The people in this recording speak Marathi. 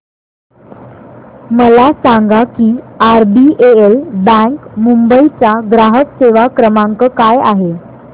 मला सांगा की आरबीएल बँक मुंबई चा ग्राहक सेवा क्रमांक काय आहे